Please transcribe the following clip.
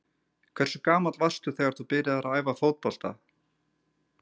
Hversu gamall varstu þegar þú byrjaðir að æfa fótbolta?